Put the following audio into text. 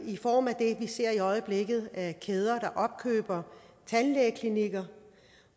i øjeblikket ser at kæder opkøber tandlægeklinikker